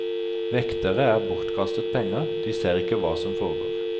Vektere er bortkastet penger, de ser ikke hva som foregår.